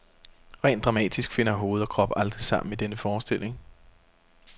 Rent dramatisk finder hoved og krop aldrig sammen i denne forestilling.